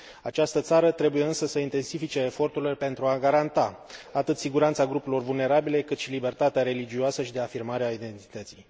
Această țară trebuie, însă, să intensifice eforturile pentru a garanta atât siguranța grupurilor vulnerabile, cât și libertatea religioasă și de afirmare a identității.